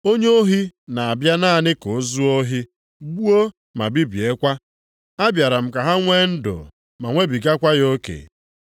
Onye ohi na-abịa naanị ka o zuo ohi, gbuo ma bibiekwa; abịara m ka ha nwe ndụ ma nwebigakwa ya oke.